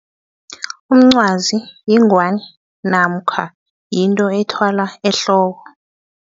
Umncwazi yingwani namkha yinto ethwalwa ehloko.